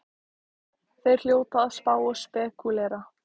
Þeir hljóta að spá og spekúlera!